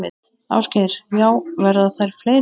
Ásgeir: Já, verða þær fleiri?